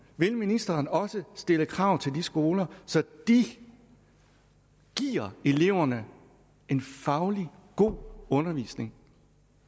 vil ministeren også stille krav til de skoler så de giver eleverne en faglig god undervisning